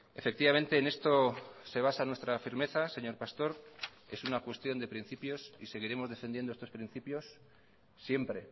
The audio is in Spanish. efectivamente en esto se basa nuestra firmeza señor pastor es una cuestión de principios y seguiremos defendiendo estos principios siempre